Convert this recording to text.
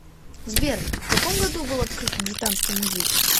сбер в каком году был открыт британский музей